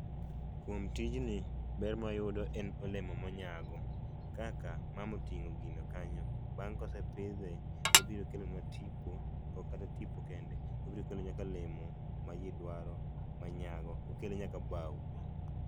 kuom tijni ber mwayudo en olemo monyago kaka mama otingo gino kanyo, bang' kose pidhe tobiro kelonwa tipo ok kata tipo kende obiro kelonwa nyaka olemo maji dwaro manyago okelo nyaka bao e